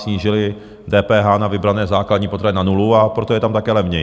Snížili DPH na vybrané základní potraviny na nulu, a proto je tam také levněji.